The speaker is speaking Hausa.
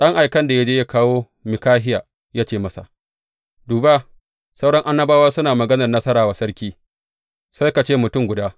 Ɗan aikan da ya je yă kawo Mikahiya, ya ce masa, Duba, sauran annabawa suna maganar nasara wa sarki, sai ka ce mutum guda.